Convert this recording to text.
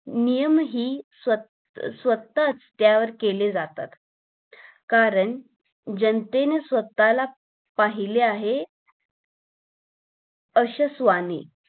नियम हि स्वतः स्वतः रस्त्यावर केले जातात कारण जनतेने स्वतःला पहिले आहे अशे सवानी